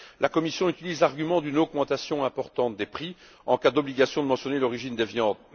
La Commission utilise l'argument d'une augmentation importante des prix en cas d'obligation de mentionner l'origine des viandes.